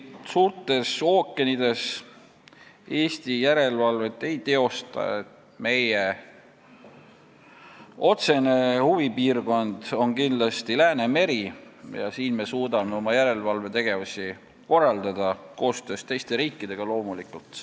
Suurtel ookeanidel Eesti kindlasti järelevalvet ei teosta, meie otsene huvipiirkond on Läänemeri ja siin me suudame oma järelevalvetegevusi korraldada loomulikult koostöös teiste riikidega.